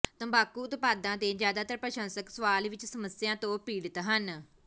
ਤੰਬਾਕੂ ਉਤਪਾਦਾਂ ਦੇ ਜ਼ਿਆਦਾਤਰ ਪ੍ਰਸ਼ੰਸਕ ਸਵਾਲ ਵਿੱਚ ਸਮੱਸਿਆ ਤੋਂ ਪੀੜਤ ਹਨ